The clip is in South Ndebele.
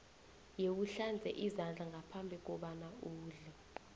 yewuhlanze izandla ngaphambi kobana udle